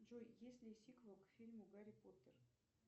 джой есть ли сиквел к фильму гарри поттер